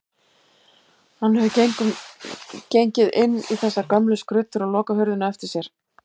Hann hefur gengið inn í þessar gömlu skruddur og lokað hurðinni á eftir sér.